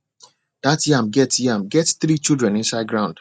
that yam get yam get three children inside ground